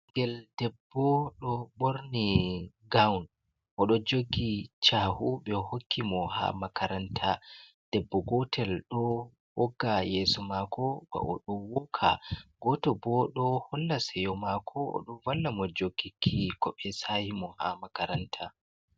Ɓinngel debbo ɗo ɓorni gawun, o ɗo jogi cahu ɓe hokki mo haa makaranta. Debbo gotel ɗo wogga yeeso maako ba, o ɗo wooka. Gooto bo ɗo holla seyo maako, o ɗon valla mo jogoki ko ɓe saahi mo haa makaranta.